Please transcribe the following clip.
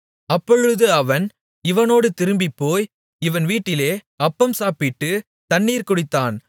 அப்பொழுது அவன் இவனோடு திரும்பிப் போய் இவன் வீட்டிலே அப்பம் சாப்பிட்டுத் தண்ணீர் குடித்தான்